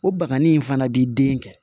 O banganin in fana b'i den kɛ